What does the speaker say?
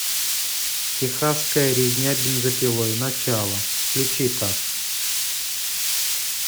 тихасская резня бензопилой начало включи ка